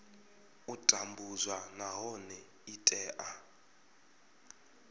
u tambudzwa nahone i tea